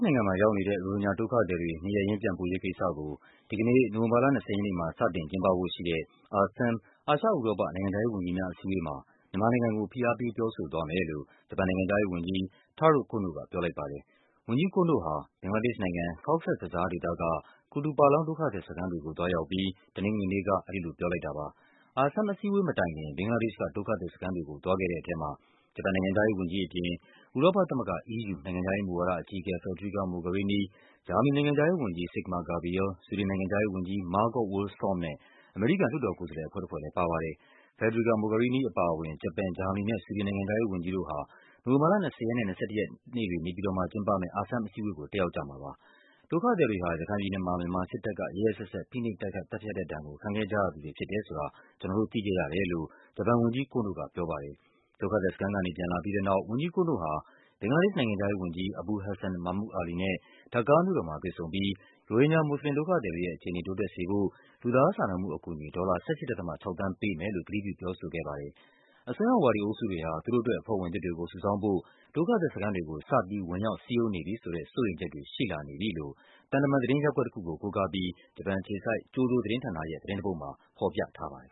နိုင်ငံမှာရောက်နေတဲ့ ရိုဟင်ဂျာဒုက္ခသည်တွေ နေရပ်ရင်းပြန်ပို့ရေးကိစ္စကို ဒီကနေ့ နိုဝင်ဘာလ ၂၀ ရက်နေ့မှာ စတင်ကျင်းပဖို့ရှိတဲ့ ASEM အာရှ-ဥရောပ နိုင်ငံခြားရေးဝန်ကြီးများအစည်းအဝေးမှာ မြန်မာနိုင်ငံကို ဖိအားပေး ပြောဆိုသွားမယ် လို့ ဂျပန်နိုင်ငံခြားရေးဝန်ကြီး Taro Kono က ပြောလိုက်ပါတယ်။ ဝန်ကြီး Kono ဟာ ဘင်္ဂလားဒေ့ရှ်နိုင်ငံ၊ Cox’s Bazar ဒေသက Kutopalong ဒုက္ခသည်စခန်းတွေကို သွားရောက်အပြီး တနင်္ဂနွေ နေ့က အဲဒီလိုပြောလိုက်တာပါ။ ASEM အစည်းအဝေးမတိုင်ခင် ဘင်္ဂလားဒေ့ရှ်က ဒုက္ခသည်စခန်းကို သွားခဲ့တဲ့ထဲမှာ ဂျပန် နိုင်ငံခြားရေးဝန်ကြီးအပြင် ဥရောပသမဂ္ဂ EU နိုင်ငံခြားရေးမူဝါဒအကြီးအကဲ Federica Mogherini၊ ဂျာမနီနိုင်ငံခြားရေးဝန်ကြီး Sigmar Gabriel၊ ဆွီဒင်နိုင်ငံခြားရေးဝန်ကြီး Margot Wallström နဲ့ အမေရိကန် လွှတ်တော်ကိုယ်စားလှယ် အဖွဲ့တဖွဲ့လဲ ပါပါ တယ်။ Federica Mogherini အပါအဝင် ဂျပန်၊ ဂျာမနီနဲ့ ဆွီဒင်နိုင်ငံခြားရေးဝန်ကြီးတို့ဟာ နိုဝင်ဘာလ ၂၀ ရက်နဲ့ ၂၁ ရက် နေပြည်တော်မှာကျင်းပမယ့် ASEM အစည်းအဝေးကို တက်ရောက်ကြမှာဖြစ်ပါတယ်။ ဒုက္ခသည်တွေဟာ ရခိုင်ပြည်နယ်မှာ မြန်မာစစ်တပ်က ရက်ရက်စက်စက် ဖိနှိပ် တိုက်ခိုက် သတ်ဖြတ်တဲ့ဒဏ်ကို ခံခဲ့ကြရသူတွေ ဖြစ်တယ်ဆိုတာ ကျနော်တို့သိခဲ့ရတယ်လို့ ဝန်ကြီး Kono ကပြောပါတယ်။ ဒုက္ခသည်စခန်းကနေပြန်လာပြီးတဲ့နောက် ဝန်ကြီး Kono ဟာ ဘင်္ဂလားဒေ့ရှ်နိုင်ငံခြားရေးဝန်ကြီး Abul Hassan Mahmud Ali နဲ့ Dhaka မြို့တော်မှာတွေ့ဆုံပြီး ရိုဟင်ဂျာမွတ်ဆလင်ဒုက္ခသည်တွေရဲ့ အခြေအနေ တိုးတက်စေဖို့ လူသားစာနာမှုအကူအညီ ဒေါ်လာ ၁၈.၆ သန်း ပေးမယ်လို့ ကတိပြုပြောဆိုခဲ့ပါတယ်။ အစွန်းရောက်ဝါဒီအုပ်စုတွေဟာ သူတို့အတွက် အဖွဲ့ဝင်သစ်တွေကိုစုဆောင်းဖို့ ဒုက္ခသည်စခန်းတွေကို စပြီး ဝင်ရောက် စည်းရုံးနေ ပြီဆိုတဲ့ စိုးရိမ်ချက်တွေ ရှိလာနေပြီလို့ သံတမန်သတင်းရပ်ကွက်တခုကို ကိုးကားပြီး ဂျပန်အခြေစိုက် ကျိုဒိုသတင်းဌာနရဲ့ သတင်းတပုဒ်မှာ ဖော်ပြထားပါတယ်